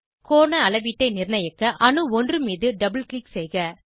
கோண அளவீட்டை நிர்ணயிக்க அணு 1 மீது டபுள் க்ளிக் செய்க